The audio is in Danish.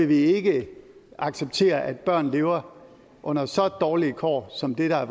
vi ikke acceptere at børn lever under så dårlige kår som dem der